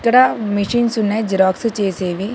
ఇక్కడ మెషిన్స్ ఉన్నాయి జిరాక్స్ చేసేవి.